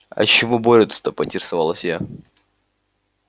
а чего борются-то поинтересовалась я